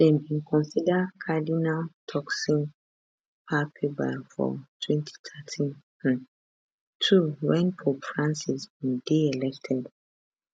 dem bin consider cardinal turkson papabile for 2013 um too wen pope francis bin dey elected